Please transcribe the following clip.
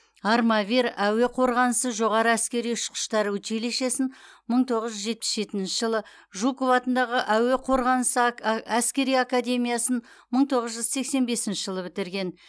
армавир әуе қорғанысы жоғары әскери ұшқыштар училищесін мың тоғыз жүз жетпіс жетінші жылы жуков атындағы әуе қорғанысы әскери академиясын мың тоғыз жүз сексен бесінші жылы бітірген